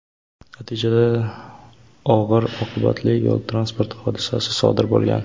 Natijada og‘ir oqibatli yo‘l transport hodisasi sodir bo‘lgan.